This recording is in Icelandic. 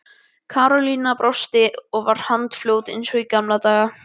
Karólína brosti og var handfljót eins og í gamla daga.